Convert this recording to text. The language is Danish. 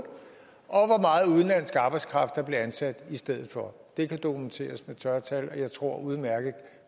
og meget udenlandsk arbejdskraft der blev ansat i stedet for det kan dokumenteres med tørre tal og jeg tror ordføreren udmærket